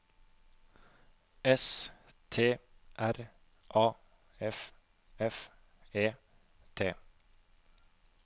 S T R A F F E T